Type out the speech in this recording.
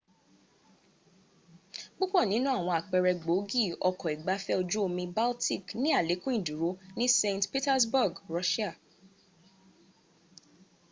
púpọ̀ nínú àwọn àpẹrẹ gbòógi ọkọ̀ ìgbafẹ ojú omi baltic ni àlékún ìdúró ní st petersburg russia